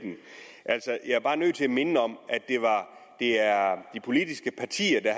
jeg er bare nødt til at minde om at det er de politiske partier der